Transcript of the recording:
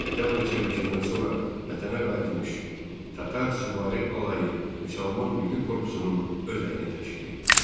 Oktyabr çevrilişindən sonra vətənə qayıtmış Tatar süvari alayı Müsəlman Milli Korpusunun özəyini təşkil etdi.